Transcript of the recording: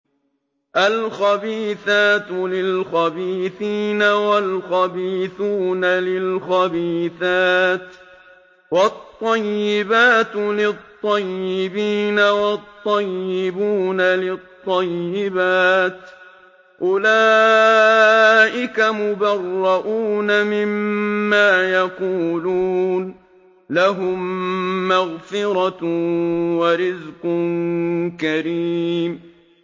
الْخَبِيثَاتُ لِلْخَبِيثِينَ وَالْخَبِيثُونَ لِلْخَبِيثَاتِ ۖ وَالطَّيِّبَاتُ لِلطَّيِّبِينَ وَالطَّيِّبُونَ لِلطَّيِّبَاتِ ۚ أُولَٰئِكَ مُبَرَّءُونَ مِمَّا يَقُولُونَ ۖ لَهُم مَّغْفِرَةٌ وَرِزْقٌ كَرِيمٌ